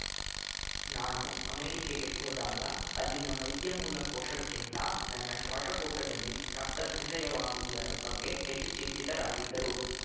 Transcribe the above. ನಾನು ಅಮೆರಿಕೆಗೆ ಹೋದಾಗ ಅಲ್ಲಿನ ವೈದ್ಯ ಮೂಲ ಕೋಶಕ್ಕಿಂತ ನನ್ನ ಶ್ವಾಸಕೋಶದಲ್ಲಿ ರಕ್ತ ಸಂಜಯವಾಗುವುದರ ಬಗ್ಗೆ ಹೆಚ್ಚು ಚಿಂತಿತರಾಗಿದ್ದರು